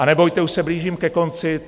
A nebojte, už se blížím ke konci.